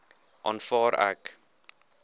aanvaar ek